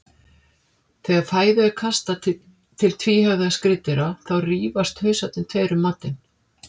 Þegar fæðu er kastað til tvíhöfða skriðdýra þá rífast hausarnir tveir um matinn.